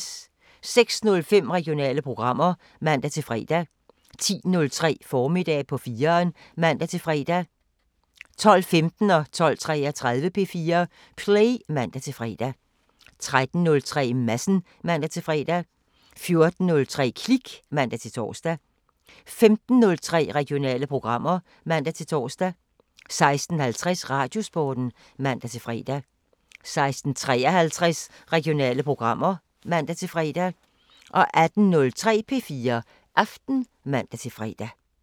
06:05: Regionale programmer (man-fre) 10:03: Formiddag på 4'eren (man-fre) 12:15: P4 Play (man-fre) 12:33: P4 Play (man-fre) 13:03: Madsen (man-fre) 14:03: Klik (man-tor) 15:03: Regionale programmer (man-tor) 16:50: Radiosporten (man-fre) 16:53: Regionale programmer (man-fre) 18:03: P4 Aften (man-fre)